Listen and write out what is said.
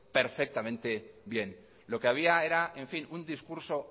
perfectamente bien lo que había era en fin un discurso